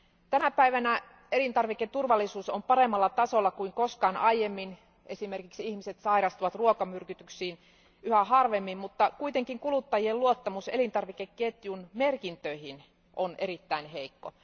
Tänä päivänä elintarviketurvallisuus on paremmalla tasolla kuin koskaan aiemmin esimerkiksi ihmiset sairastuvat ruokamyrkytyksiin yhä harvemmin mutta kuitenkin kuluttajien luottamus elintarvikeketjun merkintöihin on erittäin heikko.